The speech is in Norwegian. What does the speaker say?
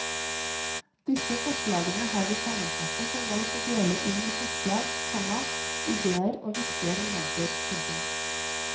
Disse forslagene har vi sammenfattet og valgt å dele inn i forslag, komma ideer og viktige momenter. punktum